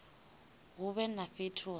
hu vhe na fhethu ha